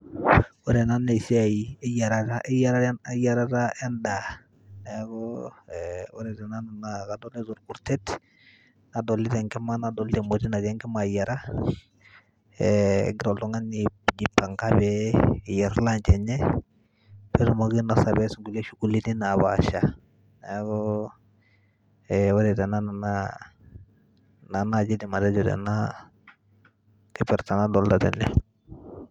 Ore ena naa esia eyiarata eyiarata eyiarata endaa, neeku ore te nanu ee kadolita orkutet, nadolita enkima, nadolita emoti natii enkima ayiara. Eeeh egira oltung'ani a jipanga peyie eyer lunch enye, netumoki ainosa peyie ees nkulie shughuli ni napaasha. Neeku ore te nanu naa ina naji aidim atejo tena tipat nadolta tene.